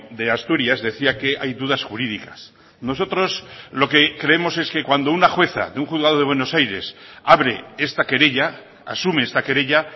de asturias decía que hay dudas jurídicas nosotros lo que creemos es que cuando una jueza de un juzgado de buenos aires abre esta querella asume esta querella